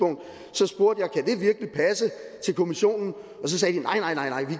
så spurgte jeg kommissionen